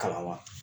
Kalan wa